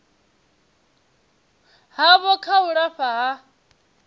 havho kha u lafha ha